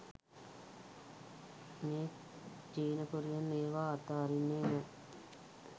මේ චීනකොරියන් ඒවා අතඅරින්නෙ නෑ.